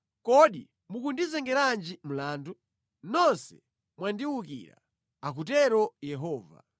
“Kodi mukundizengeranji mlandu? Nonse mwandiwukira,” akutero Yehova.